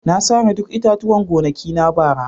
Na sare duk itatuwan gonakina bara.